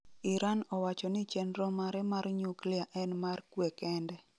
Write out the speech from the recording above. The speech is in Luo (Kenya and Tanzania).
Iran owacho ni chenro mare mar nyuklia en mar kwe kende